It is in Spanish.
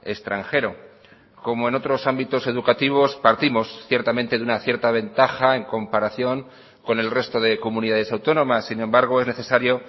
extranjero como en otros ámbitos educativos partimos ciertamente de una cierta ventaja en comparación con el resto de comunidades autónomas sin embargo es necesario